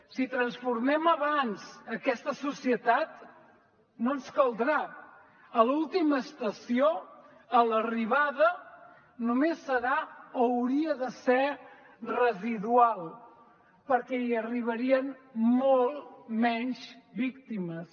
si transformem abans aquesta societat no ens caldrà l’última estació l’arribada només serà o hauria de ser residual perquè hi arribarien moltes menys víctimes